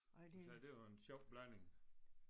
Så det var en sjov blanding